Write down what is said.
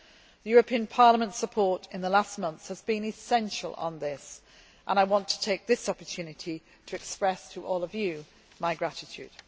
The European Parliament's support in the last months has been essential on this, and I would like to take this opportunity to express to all of you my